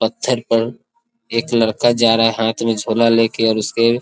पत्थर पर एक लड़का जा रहा है हाथ में झोला लेकर और उसके --